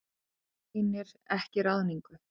Gagnrýnir ekki ráðningu